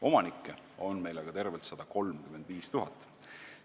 Omanikke on meil aga tervelt 135 000.